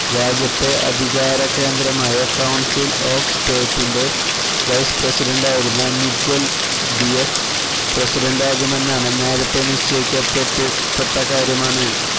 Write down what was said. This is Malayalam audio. രാജ്യത്തെ അധികാരകേന്ദ്രമായ കൌൺസിൽ ഓഫ് സ്റ്റേറ്റിന്റെ വൈസ് പ്രസിഡന്റായിരുന്ന മിഗ്വൽ ഡിയസ് പ്രസിഡന്റാകുമെന്നാണ് നേരത്തെ നിശ്ചയിക്കപ്പെട്ട കാര്യമാണ്